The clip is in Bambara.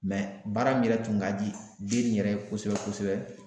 baara min yɛrɛ tun ka di den in yɛrɛ ye kosɛbɛ kosɛbɛ